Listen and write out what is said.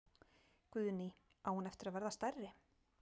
Guðný: Á hún eftir að verða stærri?